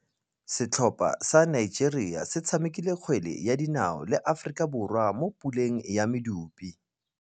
Setlhopha sa Nigeria se tshamekile kgwele ya dinaô le Aforika Borwa mo puleng ya medupe.